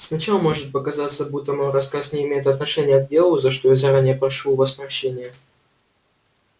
сначала может показаться будто мой рассказ не имеет отношения к делу за что я заранее прошу у вас прощения